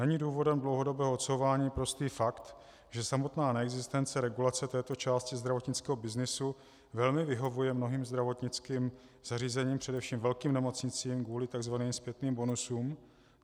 Není důvodem dlouhodobého odsouvání prostý fakt, že samotná neexistence regulace této části zdravotnického byznysu velmi vyhovuje mnohým zdravotnickým zařízením, především velkým nemocnicím, kvůli tzv. zpětným bonusům?